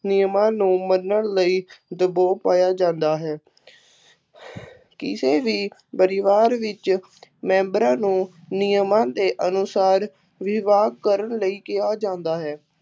ਨਿਯਮਾਂ ਨੂੰ ਮੰਨਣ ਲਈ ਦਬਾਅ ਪਾਇਆ ਜਾਂਦਾ ਹੈ ਕਿਸੇ ਵੀ ਪਰਿਵਾਰ ਵਿੱਚ ਮੈਂਬਰਾਂ ਨੂੰ ਨਿਯਮਾਂ ਦੇ ਅਨੁਸਾਰ ਵਿਵਾਹ ਕਰਨ ਲਈ ਕਿਹਾ ਜਾਂਦਾ ਹੈ।